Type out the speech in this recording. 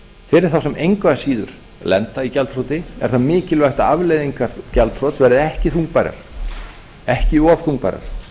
fyrir þá sem engu að síður lenda í gjaldþroti er það mikilvægt að afleiðingar gjaldþrots verði ekki þungbærar ekki of þungbærar